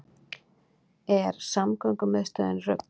Er samgöngumiðstöðin rugl